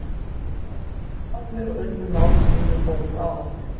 Þeir áfrýjuðu báðir og unnu mál sín með góðum árangri.